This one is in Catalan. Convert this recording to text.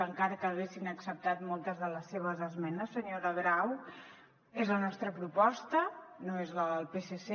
encara que haguessin acceptat moltes de les seves esmenes senyora grau és la nostra proposta no és la del psc